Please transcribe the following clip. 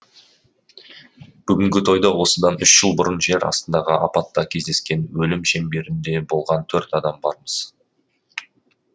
бүгінгі тойда осыдан үш жыл бұрын жер астындағы апатта кездескен өлім шеңберінде болған төрт адам бармыз